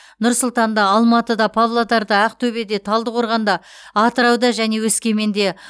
нұр сұлтанда алматыда павлодарда ақтөбеде талдықорғанда атырауда және өскеменде